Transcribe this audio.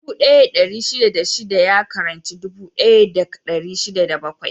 Dubu ɗaya da ɗari shida da shida ya ƙaranci dubu ɗaya da dari shida da bakwai.